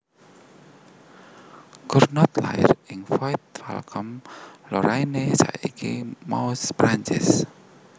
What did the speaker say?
Cugnot lair ing Void Vacon Lorraine saiki Meuse Prancis